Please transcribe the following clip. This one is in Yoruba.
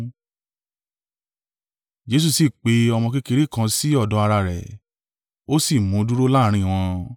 Jesu sì pe ọmọ kékeré kan sí ọ̀dọ̀ ara rẹ̀. Ó sì mú un dúró láàrín wọn.